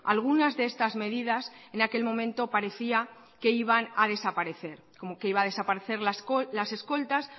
algunas de estas medidas en aquel momento parecía que iban a desaparecer como que iba a desaparecer las escoltas